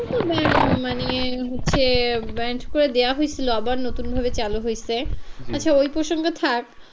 মানে হচ্ছে banned করে দেওয়া হয়েছিলো আবার নতুন করে চালু হইছে আচ্ছা ওই প্রসঙ্গ ঠাক,